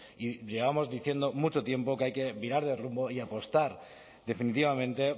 y llevamos diciendo mucho tiempo que hay que virar de rumbo y apostar definitivamente